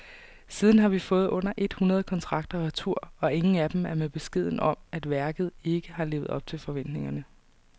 Siden har vi fået under et hundrede kontrakter retur, og ingen af dem er med beskeden om, at værket ikke har levet op til forventningerne.